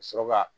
Ka sɔrɔ ka